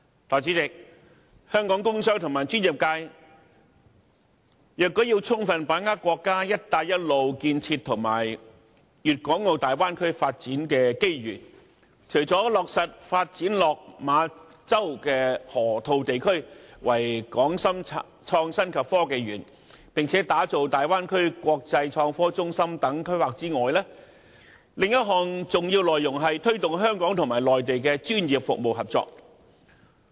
代理主席，香港工商和專業界若要充分把握國家"一帶一路"建設和大灣區發展的機遇，除了落實發展落馬洲河套地區為"港深創新及科技園"，並打造大灣區國際創科中心等規劃外，另一項重要內容是推動香港和內地的專業服務合作。